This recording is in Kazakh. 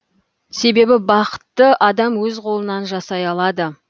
себебі бақытты адам өз қолынан жасай алады